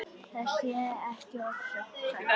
Það sé ekki ofsögum sagt.